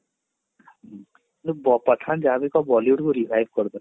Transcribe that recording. କିନ୍ତୁ pathan ଯାହାବି କହ Bollywood କୁ revive କରିଦେଲା